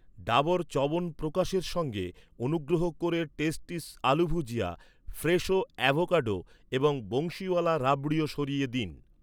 ডাবর চ্যবনপ্রকাশের সঙ্গে, অনুগ্রহ করে টেস্টিস আলু ভুজিয়া, ফ্রেশো অ্যাভোকাডো এবং বংশীওয়ালা রাবড়িও সরিয়ে দিন।